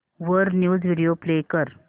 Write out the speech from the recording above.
वर news video play कर